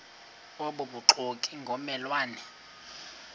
obubuxoki ngomme lwane